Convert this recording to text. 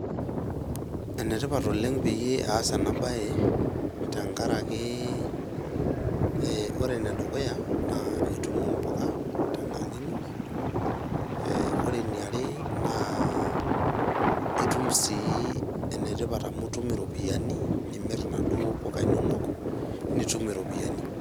Enetipat oleng' peyie aasa enabaye, tenkaraki; ore enedukuya naa itum imbuka tenkang in, ore eniare naa itum sii enetipat amu itum iropiyiani, nimir inaduo puka inono nitum iropiyiani.